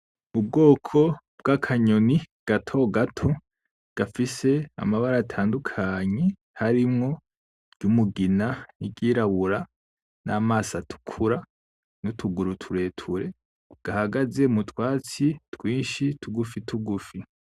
Ubwoko bw'akanyoni gatogato gafise amabara atandukanye harimwo iry'umugina n'iryirabura n'amaso atukura nutuguru tureture gahagaze mutwatsi twinshi tugufi tugufi